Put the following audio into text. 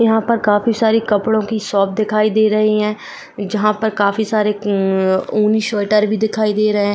यहां पर काफी सारी कपड़ों की शॉप दिखाई दे रही हैं जहां पर काफी सारे ऊनी स्वेटर भी दिखाई दे रहे।